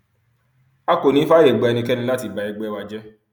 a kò ní í fààyè gba ẹnikẹni láti ba ẹgbẹ wa jẹ